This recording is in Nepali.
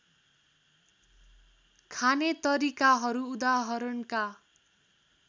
खाने तरिकाहरू उदाहरणका